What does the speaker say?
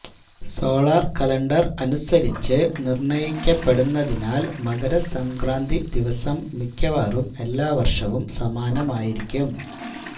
solar calendar അനുസരിച്ച് നിര്ണ്ണയിക്കപ്പെടുന്നതിനാല് മകരസംക്രാന്തി ദിവസം മിക്കവാറും എല്ലാ വര്ഷവും സമാനമായിരിക്കും